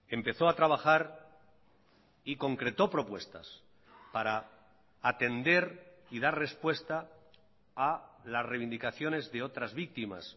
empezó a trabajar y concreto propuestas para atender y dar respuesta a las reivindicaciones de otras víctimas